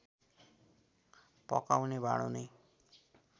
पकाउने भाँडो नै